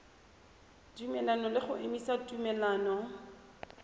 tumelelano le go emisa tumelelano